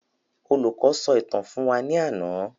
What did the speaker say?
Olùkọ sọ ìtàn fún wa ní àna